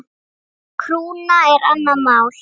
Krúna er annað mál.